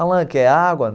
Alan, quer água?